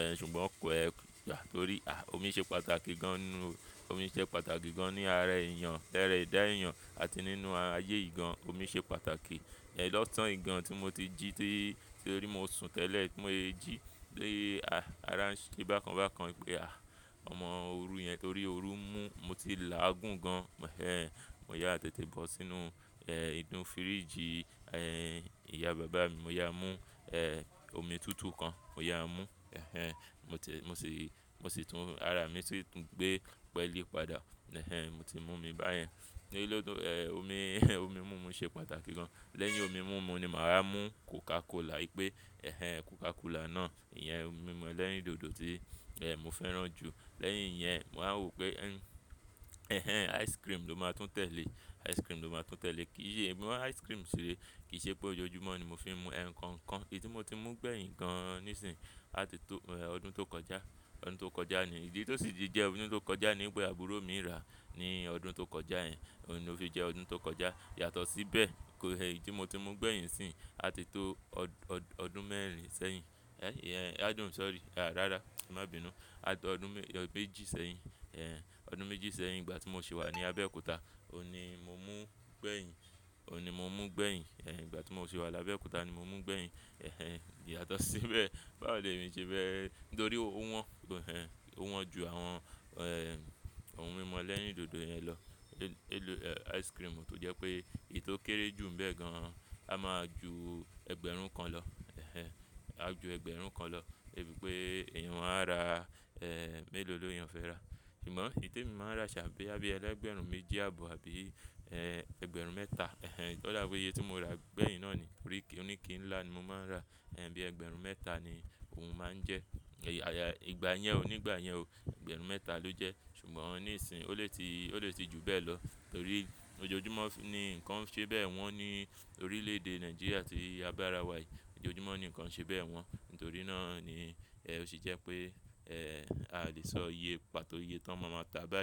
Ẹ̀, ṣùgbọ́n kọ́ ẹ à torí, à, omi ṣe pàtàkì gan inú, omi ṣe pàtàkì gan ní ara èèyàn, lára ẹ̀dá èèyàn àti nínú ayé yi gan omi ṣe pàtàkì. Ẹ̀, lọ́sàn-án yi gan tí mo ti jí tí, torí mo sùn tẹ́lẹ̀ bi mo sè jí, lé, à, ara ń ṣe bákan bákan wípé, à, ọmọ òru yẹn torí òru mú, mo ti làágùn gan. Ẹ̀, mo yá àtètè bọ́ sínú, ẹ́, inú fíríjì, ẹ́, ìyá bàbá mi. Mo yá mú, ẹ́, omi tútù kan, mo yá mú. Ẹ̀hẹ́n, mo ti, mo sì, mo sì tún ara mi sì tún gbé pẹ́lí padà. Ẹ̀hẹ́n, mo ti mú mi báyẹn. Ní elé tó, ẹ́, omi omi múmu ṣe pàtàkì gan. Lẹ́yìn omi múmu ni màá wà mú Coca Cola wípé ẹ̀hẹ́n Coca Cola náà, ìyẹn ohun mímu ẹlẹ́rìndòdò tí, ẹ́, mo fẹ́ràn jù. Lẹ́yìn yẹn, màá rò pé ẹ̀hẹ́n ice cream ló máa tún tẹ̀lé, ice cream ló máa tún tẹ̀lé. Kì í ṣe ìbímo ice cream sìrẹ̀, kì í ṣe pé ojoojúmọ́ ni mo fi ń mu ẹ̀ ẹ́ nǹkan kan. Èyí tí mo ti mú gbẹ̀yìn gan níìsín àti tó, ẹ́, ọdún tó kọjá, ọdún tó kọjá ni. Ìdí tí ó sì di jẹ ọdún tó kọjá nipe àbúrò mi rà ní ọdún tó kọjá ẹ́, òun ni ó fi jẹ́ ọdún tó kọjá. Yàtọ̀ sí bẹ́ẹ̀ kó ẹ́, èyí tí mo ti mú gbẹ̀yìn nisín àti tó ọdún mẹ́rin sẹ́yìn. Ẹ́, ẹ́, adùn sorry, à, rárá, má bínu. Àti ọdún mé, ọ, méjì sẹ́yìn. Ẹ̀, ọdún méjì sẹ́yìn ìgbà tí mo sì wà ní Abẹ́òkúta, òun ni mo mú gbẹ̀yìn, òun ni mo mú gbẹ̀yìn. Ẹ̀, ìgbà tí mo sì wà ní Abẹ́òkúta ni mo mú gbẹ̀yìn. Ẹ̀hẹ́n, ì yàtọ̀ sí bẹ́ẹ̀, bá ò le mi ṣe bẹ́ẹ̀ nítorí ó wọ́n, ó wọ́n ju àwọn, ẹ́, ohun mímu ẹlẹ́rìndòdò yẹn lọ. Eh, ice cream to je pe eyii to kere ju nbe gan an a maa ju ẹgbẹ̀rún un kan lo ẹ̀hẹ́n, á ju ẹgbẹ̀rún kan lọ. Wi pé èèyàn máa rà, ẹ́, mélòó leyan fẹ́ rà. Ṣùgbọ́n èyí tí mo máa ń ra ṣàa boyà bií ẹlẹ́gbẹ̀rún méjì àbọ̀ àbí, ẹ́, ẹgbẹ̀rún mẹ́ta. Ẹ̀hẹ́n, odabi oyé tí mo rà gbẹ̀yìn náà ni. Ri kí, onike ńlá ni mo máa ń ra. Ẹ̀hn, bí ẹgbẹ̀rún mẹ́ta ni òun máa ń jẹ́. Lẹ́yìn Coca Cola, ohun mímu tí mo tún fẹ́ràn láti, omi ló máa fẹ́ ṣíwájú, omi ló máa fẹ́ ṣíwájú gbogbo ohun mímu tí, mi o ba ni pé mo fẹ́ fẹ́ràn jù láyé yi ṣá, omi ló máa ṣíwájú. Ṣùgbọ́n níìsín ó lè ti, ó lè ti ju bẹ́ẹ̀ lọ torí ojoojúmọ́ ni ǹkan ṣe bẹ́ẹ̀ wọ́n ní orílẹ̀ èdè Nàìjíríà tí a bá ra wà yìí. Ojoojúmọ́ ni ǹkan ṣe bẹ́ẹ̀ wọ́n. Nítorí náà ni ẹ́, ó sì jẹ́ pé, ẹ́, a lè sọ iye pàtó iye tí wọ́n máa máa ta a báyìí.